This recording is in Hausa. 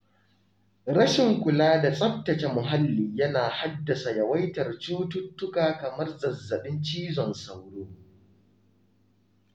Rashin kula da tsabtace muhalli yana haddasa yawaitar cututtuka kamar zazzabin cizon sauro.